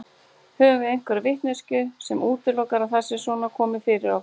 Höfum við einhverja vitneskju sem útilokar að það sé svona komið fyrir okkur?